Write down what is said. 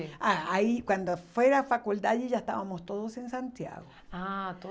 Ah aí, quando foi a faculdade, já estávamos todos em Santiago. Ah,